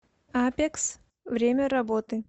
апекс время работы